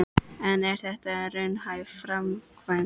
En er þetta raunhæf framkvæmd?